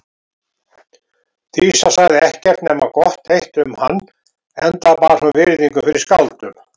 Dísa sagði ekkert nema gott eitt um hann enda bar hún virðingu fyrir skáldum.